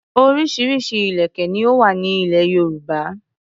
Orísirísi ìlèkè ni ó wà ní ilẹ̀ Yorùbá.